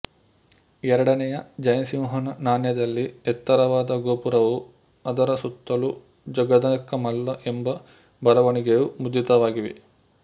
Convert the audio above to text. ಎರಡನೆಯ ಜಯಸಿಂಹನ ನಾಣ್ಯದಲ್ಲಿ ಎತ್ತರವಾದ ಗೋಪುರವೂ ಅದರ ಸುತ್ತಲೂ ಜಗದೇಕಮಲ್ಲ ಎಂಬ ಬರವಣಿಗೆಯೂ ಮುದ್ರಿತವಾಗಿವೆ